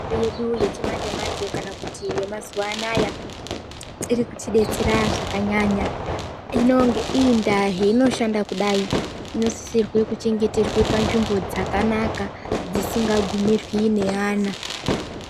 Mitombo yedu yechimanje manje kana kuti yemazuwa anaya irikutidetsera zvakanyanya hino ngeiyi ndaa zvainoshanda kudai inosisirwe kuchengeterwe panzvimbo dzakanaka dzisingagumirwi neana.